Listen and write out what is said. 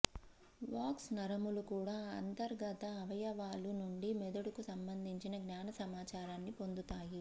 వాగ్స్ నరములు కూడా అంతర్గత అవయవాలు నుండి మెదడుకు సంబంధించిన జ్ఞాన సమాచారాన్ని పొందుతాయి